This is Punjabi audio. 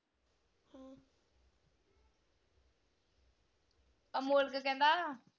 ਅਮੋਲਕ ਕਹਿੰਦਾ,